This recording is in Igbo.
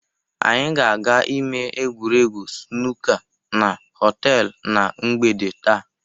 Anyị ga-aga ime egwuregwu sunuka na họtelụ na mgbede taa.